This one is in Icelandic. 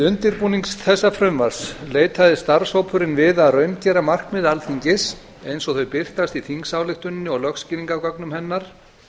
undirbúning þessa frumvarps leitaðist starfshópurinn við að raungera markmið alþingis eins og þau birtast í þingsályktuninni og lögskýringargögnum hennar